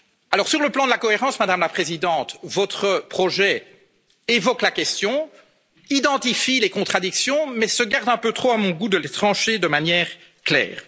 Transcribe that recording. Alors, sur le plan de la cohérence, Madame la Présidente, votre projet évoque la question, identifie les contradictions, mais se garde un peu trop, à mon goût, de les trancher de manière claire.